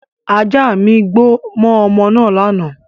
Ajá mi gbó mọ́ ọmọ naa lánàá